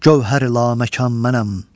Gövhər-i laməkan mənəm.